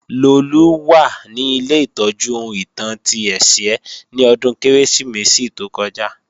Lolú wà ní ilé ìtọ́jú ohun ìtàn ti Ẹ̀sìẹ́ ni ọdún Kérésìmesì tó kọjá